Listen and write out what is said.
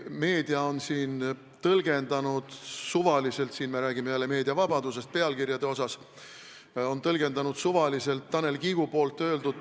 Meedia on suvaliselt tõlgendanud – me räägime jälle meediavabadusest pealkirjade puhul – Tanel Kiige öeldut.